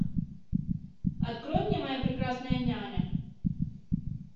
открой мне моя прекрасная няня